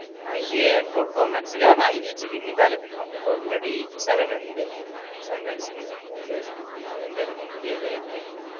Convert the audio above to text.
ആഹ് ഈ air pod pro max ൻറെ പറഞ്ഞെ iwatch ൻറെ പിന്നെയു താല്പര്യയുണ്ട് നമ്മൾ ഇപ്പൊ already seven ഇണ്ട് seven max ഇണ്ട് ഷേ പിന്നെ ന്റാലു ഇനി പുതിയതായിട്ട് വേണ്ട